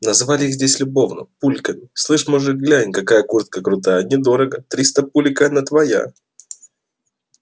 называли их здесь любовно пульками слышь мужик глянь какая куртка крутая недорого триста пулек и она твоя